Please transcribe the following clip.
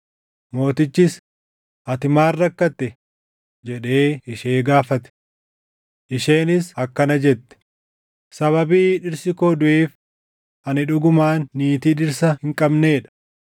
Mootichis, “Ati maal rakkatte?” jedhee ishee gaafate. Isheenis akkana jette; “Sababii dhirsi koo duʼeef ani dhugumaan niitii dhirsa hin qabnee dha.